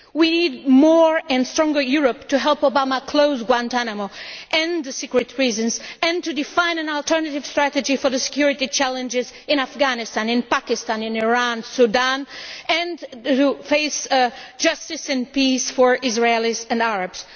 We need more and stronger Europe to help Obama close Guantánamo, end the secret prisons, and to define an alternative strategy for the security challenges in Afghanistan, Pakistan, Iran and Sudan, and put in place justice and peace for Israelis and Arabs.